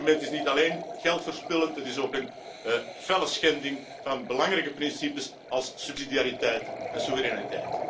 Dit instrument is niet alleen geldverspillend, het is ook een felle schending van belangrijke principes als subsidiariteit en soevereiniteit.